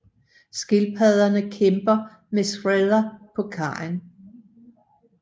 Skildpadderne kæmper med Shredder på kajen